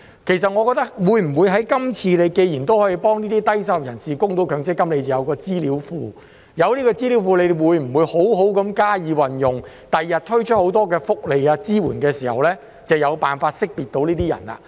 其實，既然今次已經可以幫助低收入人士供強積金，有了資料庫，會否好好加以運用，在他日推出很多福利和支援時，能夠有辦法識別出這些人士呢？